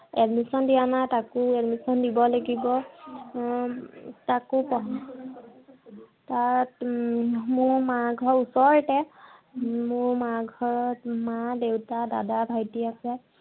admission দিয়া নাই। তাকো adimssion দিব লাগিব। এৰ তাকো উম মোৰ মাৰ ঘৰ ওচৰতে। মোৰ মাৰ ঘৰত মা-দেউতা, দাদা, ভাইটি আছে।